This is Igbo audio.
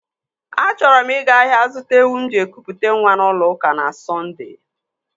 Achọrọ m ịga ahịa zụta ewu m ji ekụ pụta nwa n'ụlọ ụka na Sondee.